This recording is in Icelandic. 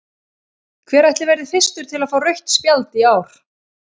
Hver ætli verði fyrstur til að fá rautt spjald í ár?